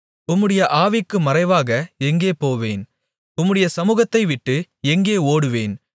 உம்முடைய ஆவிக்கு மறைவாக எங்கே போவேன் உம்முடைய சமுகத்தைவிட்டு எங்கே ஓடுவேன்